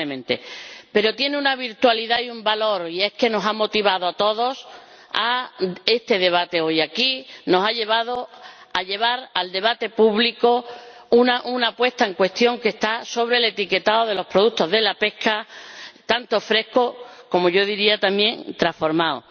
probablemente, pero tiene una virtualidad y un valor, y es que nos ha motivado a todos a celebrar este debate hoy aquí, nos ha llevado a someter a debate público una puesta en cuestión sobre el etiquetado de los productos de la pesca, tanto frescos como-yo diría también— transformados.